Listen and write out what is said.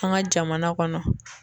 An ka jamana kɔnɔ.